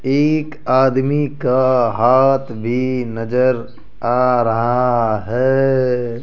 एक आदमी का हाथ भी नजर आ रहा है।